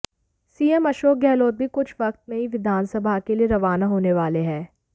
CM Ashok Gehlot भी कुछ वक्त में ही विधानसभा के लिए रवाना होने वाले हैं